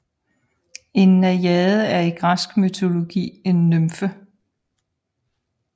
En najade er i græsk mytologi en nymfe